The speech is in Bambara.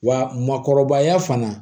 Wa makɔrɔbaya fana